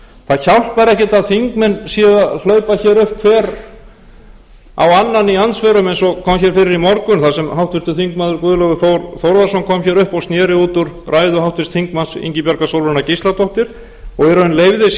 það hjálpar ekkert að þingmenn séu að hlaupa hér upp hver á annan í andsvörum eins og kom hér fyrir í morgun þar sem háttvirtur þingmaður guðlaugur þór þórðarson kom hér upp og sér út úr ræðu háttvirts þingmanns ingibjargar sólrúnar gísladóttur og